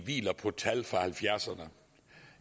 hviler på tal fra nitten halvfjerdserne